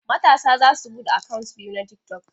Matasa za su buɗe akant biyu na tiktok.